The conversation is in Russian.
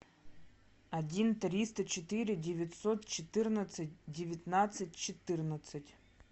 один триста четыре девятьсот четырнадцать девятнадцать четырнадцать